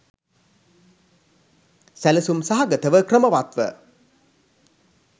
සැලසුම් සහගතව ක්‍රමවත්ව